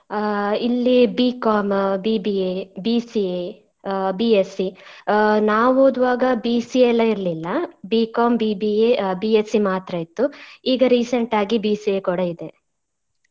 ಆ ಇಲ್ಲಿ B.Com BBA, BCA ಆ B.Sc ಆ ನಾವ್ ಓದುವಾಗ BCA ಎಲ್ಲ ಇರ್ಲಿಲ್ಲ B.Com BBA, B.Sc ಮಾತ್ರ ಇತ್ತು ಈಗ recent ಆಗಿ BCA ಕೂಡಾ ಇದೆ.